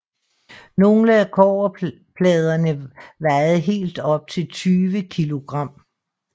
Nogle af kobberpladerne vejede helt op til 20 kilogram